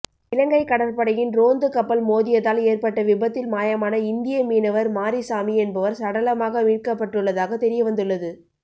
இலங்கை கடற்படையின் ரோந்து கப்பல் மோதியதால் ஏற்பட்ட விபத்தில் மாயமான இந்திய மீனவர் மாரிசாமி என்பவர் சடலமாக மீட்கப்பட்டுள்ளதாக தெரியவந்துள்ளது